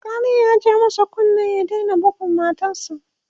alkalin ya ja masa kunnen ya Daina budgun matarsa